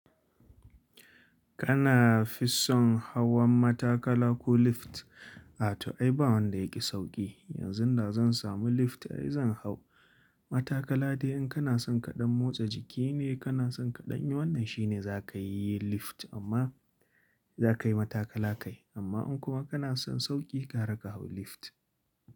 Kana fison hawan matakala ko lift? A to ai ba wanda yaƙi sauƙi. Yanzu da zan samu lift ai zan hau. Matakala dai in kana son kaɗan motsa jiki ne, kana son kaɗan yi, wannan shine za ka yi lift amma za ka yi matakala kai. Amma in kuma kana son sauƙi, ga ra kahau lift.